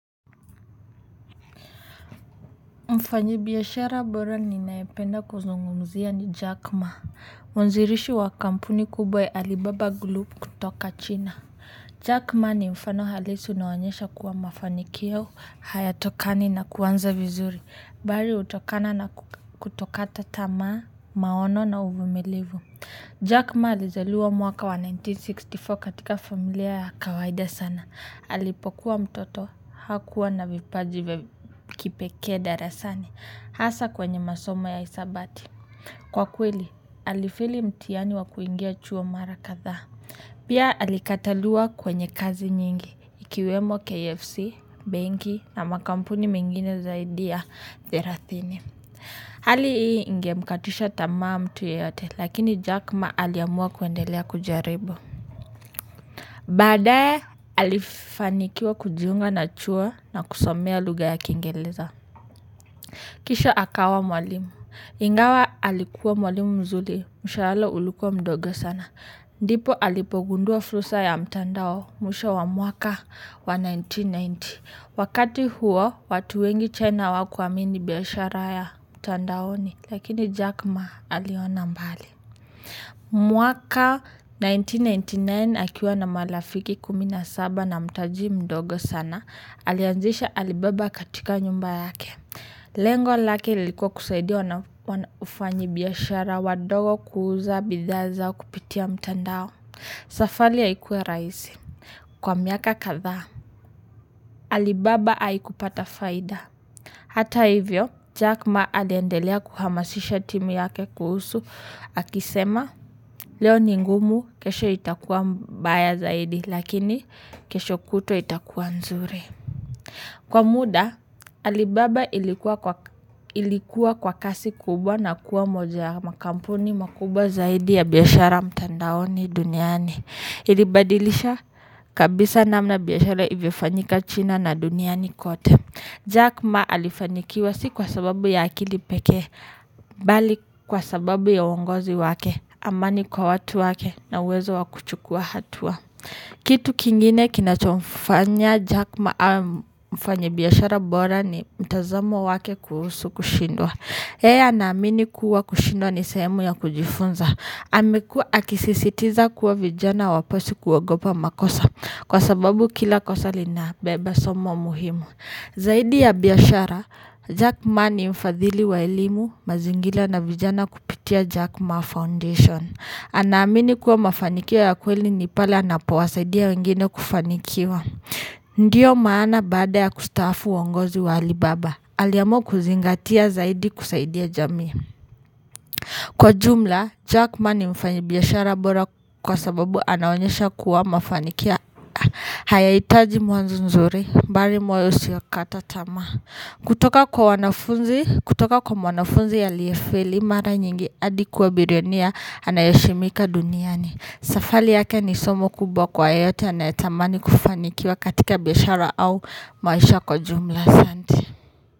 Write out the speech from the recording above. Mfanyibiashara bora ninaependa kuzungumzia ni Jack Ma. Mwanzirishi wa kampuni kubwa ya alibaba glup kutoka china Jack Ma ni mfano halisi unaoonyesha kuwa mafanikio hayatokani na kuanza vizuri. Bali hutokana na kutokata tamaa, maono na uvumilivu Jack Ma alizaliwa mwaka wa elfu moja na mia tisa na sitini na nne katika familia ya kawaida sana. Alipokuwa mtoto hakuwa na vipaji kipeke darasani. Hasa kwenye masomo ya hisabati. Kwa kweli, alifeli mtiani wa kuingia chuo mara kadhaa. Pia alikataliwa kwenye kazi nyingi. Ikiwemo KFC, banki na makampuni mingine zaidi ya therathini. Hali hii ingemkatusha tama mtu yeyote. Lakini Jackma aliamua kuendelea kujaribu. Badae alifanikiwa kujiunga na chuo na kusomea lugha ya kingeleza. Kisho akawa mwalimu. Ingawa alikuwa mwalimu mzuli. Mshaal ulikua mdogo sana. Ndipo alipogundua fulsa ya mtandao. Mwisho wa mwaka wa elfu moja na mia tisa na tisini. Wakati huo watu wengi chena hawakuamini biashara ya mtandaoni. Lakini Jack Ma aliona mbali. Mwaka elfu moja na mia tisa na tisini na tisa akiwa na malafiki kumi na saba na mtaji mdogo sana, alianzisha alibaba katika nyumba yake. Lengo lake lilikuwa kusaidia na ufanyibiashara wadogo kuuza bidhaa zao kupitia mtandao. Safali ya ikuwe raisi. Kwa miaka kadha, alibaba haikupata faida. Hata hivyo, Jack Ma aliendelea kuhamasisha timu yake kuhusu. Akisema, leo ni ngumu, kesho itakuwa mbaya zaidi. Lakini kesho kutwaa itakuwa nzuri. Kwa muda alibaba ilikuwa kwa kasi kubwa na kuwa moja ya makampuni makubwa zaidi ya biashara mtandaoni duniani. Ilibadilisha kabisa namna biashara ivyofanyika china na duniani kote Jack Ma alifanyikiwa si kwa sababu ya akilipeke. Bali kwa sababu ya uongozi wake amani kwa watu wake na wezo wa kuchukua hatua. Kitu kingine kinachofanya Jack Maa mfanyibiashara bora ni mtazamo wake kuhusu kushindwa. Hei anamini kuwa kushindwa ni sehemu ya kujifunza. Amekuwa akisisitiza kuwa vijana waposi kuogopa makosa. Kwa sababu kila kosa linabeba somo muhimu. Zaidi ya biashara, Jack Maa ni mfadhili wa elimu mazingila na vijana kupitia Jack Maa Foundation. Anaamini kuwa mafanikio ya kweli ni pale anapowasaidia wengine kufanikiwa. Ndiyo maana baada ya kustaafu uongozi wa alibaba. Aliamua kuzingatia zaidi kusaidia jamii. Kwa jumla, Jackma ni mfanyibiashara bora kwa sababu anaonyesha kuwa mafanikio. Hayahitaji mwanzo nzuri, bali moyo usiokatatama. Kutoka kwa wanafunzi, kutoka kwa mwanafunzi aliyefeli, mara nyingi hadi kuwa bironia anayeheshimika duniani. Safali yake ni somo kubwa kwa yeyote anayetamani kufanikiwa katika bishara au maisha kwa jumla.